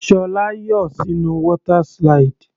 Ṣọlá yọ sínú water slide.